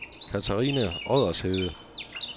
Catharina Oddershede